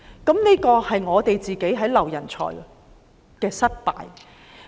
這便是我們在挽留人才方面的失敗。